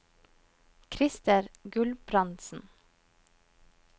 Krister Gulbrandsen